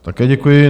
Také děkuji.